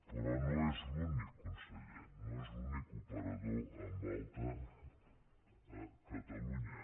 però no és l’únic conseller no és l’únic operador en alta a catalunya